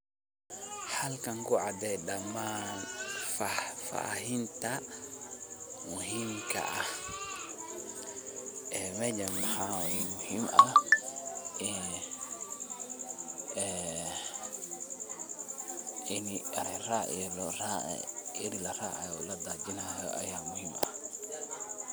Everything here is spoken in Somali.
Halkani kucadeh dhaman fafahinta muhimka ah, ee meshan mxawayi ini eri laracayo oo ladajonayo Aya muhimka aah .